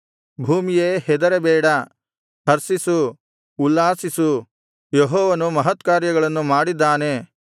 ಭೂಮಿಯೇ ಹೆದರಬೇಡ ಹರ್ಷಿಸು ಉಲ್ಲಾಸಿಸು ಯೆಹೋವನು ಮಹತ್ಕಾರ್ಯಗಳನ್ನು ಮಾಡಿದ್ದಾನೆ